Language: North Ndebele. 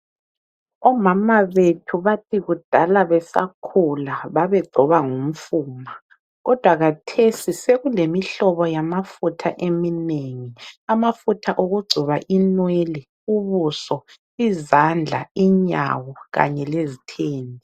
Omama bethu bathi kudala besakhula babegcoba ngomfuma kodwa kathesi sekulemihlobo yamafutha eminengi amafutha okugcoba inwele, ubuso, izandla, inyawo kanye lezithende.